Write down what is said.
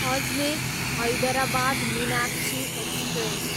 Ajmer, Hyderabad Meenakshi express